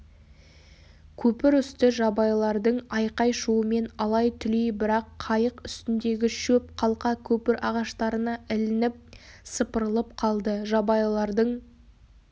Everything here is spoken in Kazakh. көпір үсті жабайылардың айқай-шуымен алай-түлей бірақ қайық үстіндегі шөп қалқа көпір ағаштарына ілініп сыпырылып қалды жабайылардың